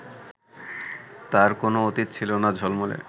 তাঁর কোনও অতীত ছিল না ঝলমলে